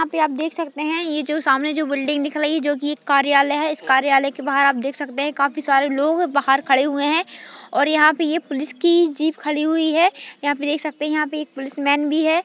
यहा पे आप देख सकते हैं ये जो सामने जो बिल्डिंग दिख रही है जो कि कार्यालय है इस कार्यालय के बाहर आप देख सकते हैं काफी सारे लोग बाहर खड़े हुए हैं और यहां पर ये पुलिस की जीप खड़ी हुई है यहाँ पे देख सकते हैं यहां पे एक पुलिसमैन भी है।